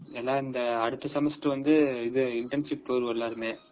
ஏன்னா அடுத்த semester வந்து internship போய்யிருவோம் எல்லாருமே.